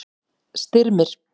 Styrmir